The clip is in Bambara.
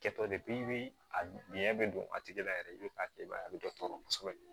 Kɛtɔ de a biɲɛ be don a tigi la yɛrɛ i be k'a kɛ i b'a ye a be dɔ tɔɔrɔ kosɛbɛ